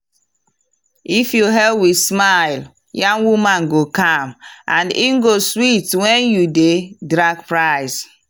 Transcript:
if you hail with smile yam woman go calm and e go sweet when you dey drag price.